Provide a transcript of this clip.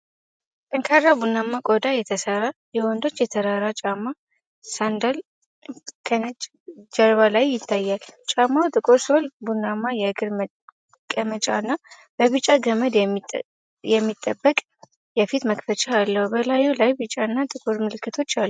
ጠንካራ፣ ቡናማ ቆዳ የተሠራ የወንዶች የተራራ ጫማ (ሳንዳል) ከነጭ ጀርባ ላይ ይታያል። ጫማው ጥቁር ሶል፣ ቡናማ የእግር መቀመጫ እና በቢጫ ገመድ የሚጠበቅ የፊት መክፈቻ አለው። በላዩ ላይ ቢጫ እና ጥቁር ምልክቶች አሉ።